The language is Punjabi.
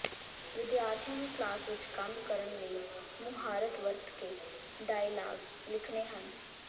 ਵਿਦਿਆਰਥੀਆਂ ਨੂੰ ਕਲਾਸ ਵਿਚ ਕੰਮ ਕਰਨ ਲਈ ਮੁਹਾਰਤ ਵਰਤ ਕੇ ਡਾਇਲਾਗ ਲਿਖਣੇ ਹਨ